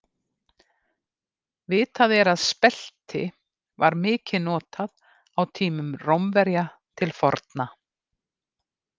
Vitað er að spelti var mikið notað á tímum Rómverja til forna.